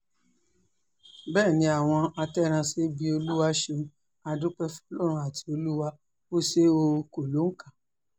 bẹ́ẹ̀ ni àwọn àtẹ̀rànṣe bíi olúwa ṣeun á dúpẹ́ fọlọ́run àti olúwa ò ṣe o kò lóǹkà